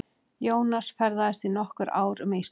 Jónas ferðaðist í nokkur ár um Ísland.